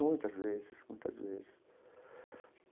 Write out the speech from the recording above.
Muitas vezes, muitas vezes.